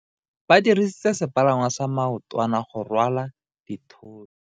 Ba dirisitse sepalangwasa maotwana go rwala dithoto.